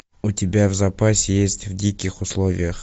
у тебя в запасе есть в диких условиях